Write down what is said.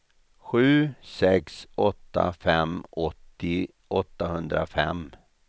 sju sex åtta fem åttio åttahundrafem